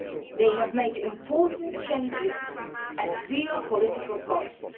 They have made important changes at real political costs.